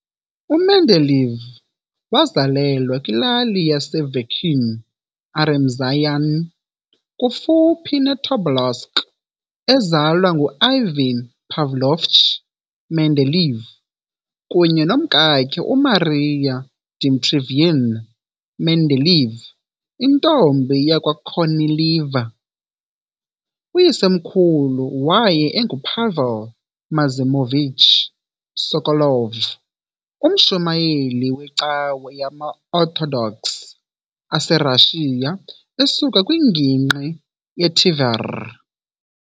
U-Mendeleev wazalelwa kwilali yase-Verkhnie Aremzyani, kufuphi ne-Tobolsk, ezalwa ngu-Ivan Pavlovich Mendeleev kunye nomkakhe uMaria Dmitrievna Mendeleeva intombi yakwaKornilieva. Uyisemkhulu waye enguPavel Maximovich Sokolov, umshumayeli wecawa yamaOrthodox aserussia esuka kwingingqi ye-Tver .